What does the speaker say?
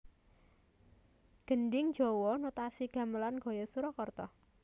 Gendhing Jawa Notasi Gamelan gaya Surakarta